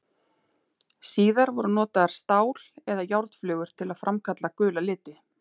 Síðar voru notaðar stál- eða járnflögur til að framkalla gula liti.